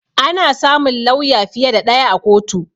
Ana samun lawya fiye da ɗaya a kotu